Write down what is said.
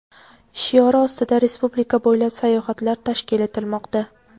shiori ostida respublika bo‘ylab sayohatlar tashkil etilmoqda.